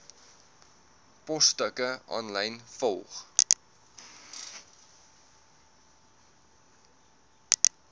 posstukke aanlyn volg